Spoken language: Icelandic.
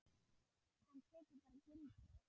Hann tekur bara gildi?